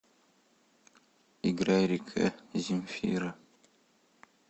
играй река земфира